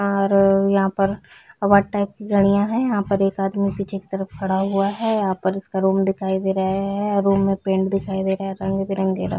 और यहाँ पर बहोत टाइप की है यहाँ पर एक आदमी पीछे की तरफ खड़ा हुआ है यहाँ पर उसका रूम दिखाई दे रहे है रूम में पेंट दिखाई दे रहे है रंग-बिरंगे रंग--